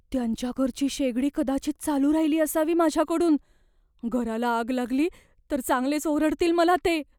त्यांच्या घरची शेगडी कदाचित चालू राहिली असावी माझ्याकडून. घराला आग लागली तर चांगलेच ओरडतील मला ते.